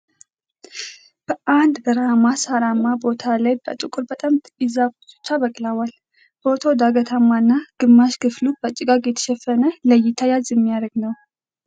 በአንድ በረሃማ ሳራማ ቦታ ላይ በቁጥር በጣም ጥቂት ዛፎች ብቻ በቅለዋል። ቦታው ዳገታማ እና ግማሽ ክፍሉ በጭጋግ የተሸፈነ ለእይታ ያዝ የሚያደርግ ነው።